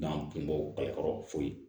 N'an kun b'o kalakɔrɔ fo